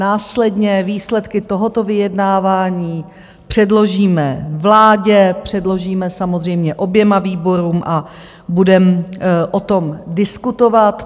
Následně výsledky tohoto vyjednávání předložíme vládě, předložíme samozřejmě oběma výborům a budeme o tom diskutovat.